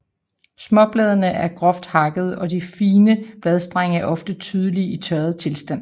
Småbladene er groft takkede og de fine bladstrenge er ofte tydelige i tørret tilstand